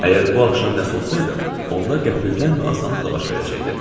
Əgər bu axşam nəsə olsaydı, onda qəfildən və asanlıqla baş verəcəkdi.